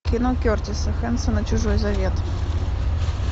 кино кертиса хэнсона чужой завет